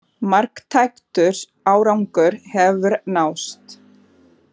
Marktækur árangur hefur náðst